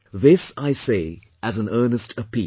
This I say as an earnest appeal